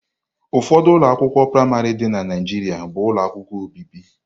Ụfọdụ ụlọ akwụkwọ praịmarị dị na Naịjirịa bụ ụlọ akwụkwọ obibi.